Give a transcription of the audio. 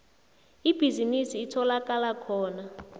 ibhizinisi itholakala khona